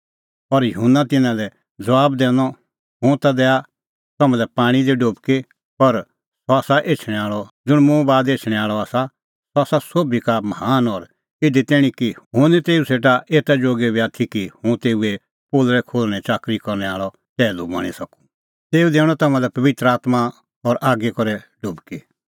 और युहन्ना तिन्नां लै ज़बाब दैनअ हुंह ता दैआ तम्हां लै पाणीं दी डुबकी पर सह आसा एछणैं आल़अ ज़ुंण मुंह बाद एछणैं आल़अ आसा सह आसा सोभी का महान और इधी तैणीं कि हुंह निं तेऊ सेटा एता जोगी बी आथी कि हुंह तेऊए पोलल़ै खोल्हणैं च़ाकरी करनै आल़अ टैहलू बणीं सकूं तेऊ दैणअ तम्हां लै पबित्र आत्मां और आगी दी डुबकी